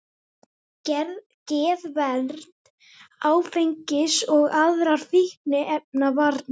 Geðvernd, áfengis- og aðrar fíkniefnavarnir